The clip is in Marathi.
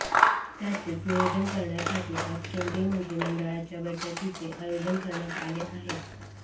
त्याचेच नियोजन करण्यासाठी आज केंद्रीय मंत्रिमंडळाच्या बैठकीचे आयोजन करण्यात आले आहे